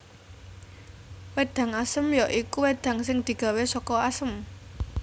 Wédang Asem ya iku wedang sing digawé saka Asem